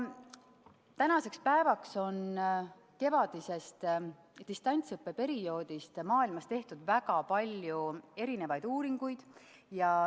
Tänaseks päevaks on kevadise distantsõppe perioodi kohta tehtud maailmas väga palju erinevaid uuringuid.